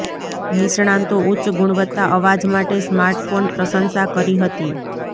નિષ્ણાતો ઉચ્ચ ગુણવત્તા અવાજ માટે સ્માર્ટ ફોન પ્રશંસા કરી હતી